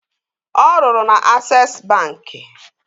Ọ rụrụ na Ases bankị